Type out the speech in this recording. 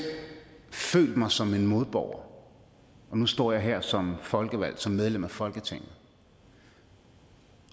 følt mig som en modborger og nu står jeg her som folkevalgt som medlem af folketinget